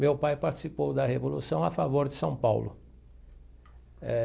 Meu pai participou da revolução a favor de São Paulo eh.